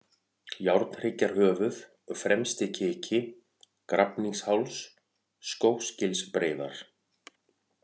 Járnhryggjarhöfuð, Fremsti-Kiki, Grafningsháls, Skógsgilsbreiðar